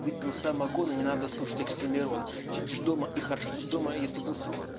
выпил самогона не надо слушать оксимирона сидишь дома и хорошо что дома если был сынку